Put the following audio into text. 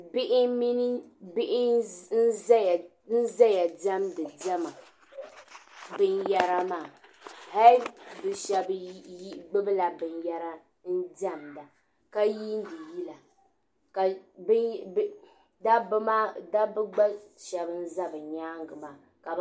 Bihi n ʒeya n dɛmdi dɛma bin yɛra maa hali bɛ shaba gbubila binyɛra n dɛmda ka yilindi yila dabba gba Shɛba n za bɛ nyaaŋa maa.